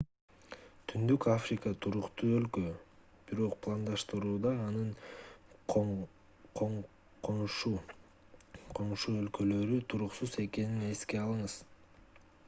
түштүк африка туруктуу өлкө бирок пландаштырууда анын коңшу өлкөлөрү туруксуз экенин эске алыңыз